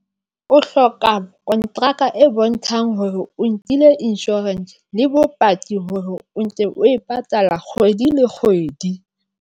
O hloka konteraka e bontshang hore o nkile insurance le bopaki hore o ntse o e patala kgwedi le kgwedi.